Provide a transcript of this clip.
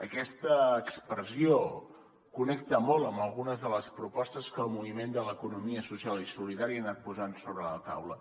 aquesta expressió connecta molt amb algunes de les propostes que el moviment de l’economia social i solidària ha anat posant sobre la taula